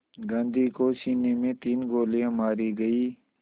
गांधी को सीने में तीन गोलियां मारी गईं